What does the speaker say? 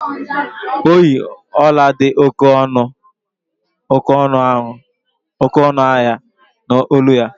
O yi ọla dị oké ọnụ ahịa n’olu ya.